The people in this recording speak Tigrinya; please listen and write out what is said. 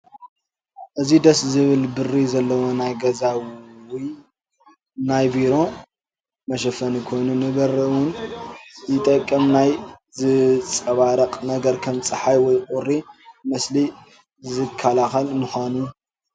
እዚ ድስ ዝብል ብሪ ዘለዎ ናይ ገዛ ውይ ናይ ቤትሮ መሸፈኒ ኮይኑ ንበሪ እውን ይጠቅም ናይ ዝፃባረቅ ነገር ከም ፀሓይ ወይ ቁሪ መሰሊ ዝካላከል ምካኑ